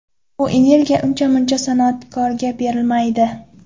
Bu energiya uncha-muncha san’atkorga berilmaydi.